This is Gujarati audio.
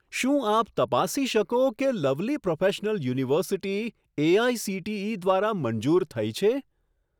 શું આપ તપાસી શકો કે લવલી પ્રોફેશનલ યુનિવર્સિટી એઆઇસીટીઈ દ્વારા મંજૂર થઈ છે?